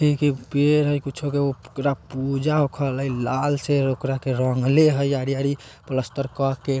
पेड़ हई कुछो के ओकरा के पूजा कइल हई लाल से ओकरा के रंगल हई आरी-आरी प्लास्तर कके।